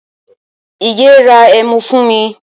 Ige ra ẹmu fún mi